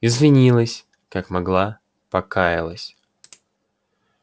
извинилась как могла покаялась